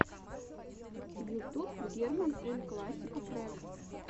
ютуб герман эль классико трек